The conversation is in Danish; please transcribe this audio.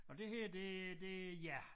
Og det her det det ja